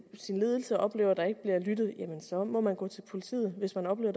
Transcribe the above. sin ledelse og oplever at der ikke bliver lyttet så må man gå til politiet hvis man oplever